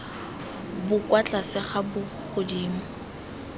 bo kwa tlase ga bogodimo